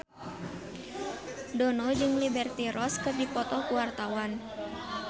Dono jeung Liberty Ross keur dipoto ku wartawan